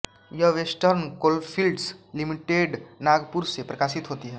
यह western coalfields लिमिटेडनागपुर से प्रकाशित होती है